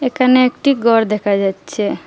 একানে একটি গর দেকা যাচ্ছে।